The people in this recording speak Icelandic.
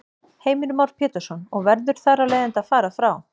Heimir Már Pétursson: Og verður þar af leiðandi að fara frá?